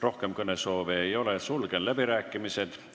Rohkem kõnesoove ei ole, sulgen läbirääkimised.